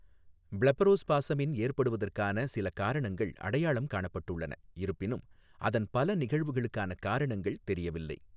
பிளெபரோஸ்பாஸமின் ஏற்படுவதற்கான சில காரணங்கள் அடையாளம் காணப்பட்டுள்ளன, இருப்பினும், அதன் பல நிகழ்வுகளுக்கான காரணங்கள் தெரியவில்லை.